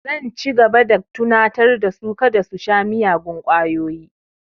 Zan ci gaba da tunatar da su kada su sha miyagun ƙwayoyi